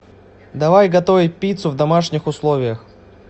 давай готовить пиццу в домашних условиях